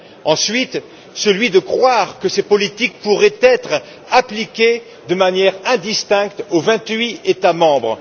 Ensuite, celui de croire que ces politiques pourraient être appliquées de manière indifférenciée aux vingt huit États membres.